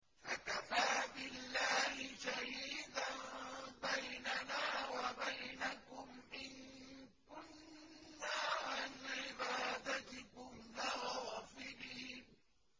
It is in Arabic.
فَكَفَىٰ بِاللَّهِ شَهِيدًا بَيْنَنَا وَبَيْنَكُمْ إِن كُنَّا عَنْ عِبَادَتِكُمْ لَغَافِلِينَ